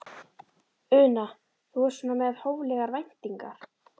Una: Þú ert svona með hóflegar væntingar?